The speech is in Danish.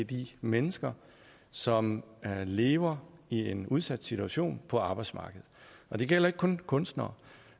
de mennesker som lever i en udsat situation på arbejdsmarkedet det gælder ikke kun kunstnere